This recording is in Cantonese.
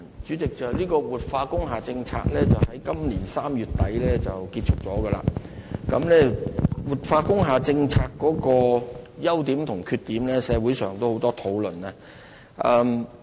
主席，活化工廈政策已在今年3月底結束，社會就這個政策的優點及缺點作出很多討論。